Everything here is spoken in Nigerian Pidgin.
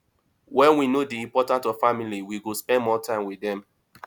when we know di importance of family we go spend more time with dem